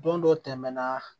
Don dɔ tɛmɛna